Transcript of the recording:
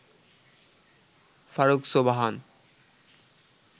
Faruk Sobhan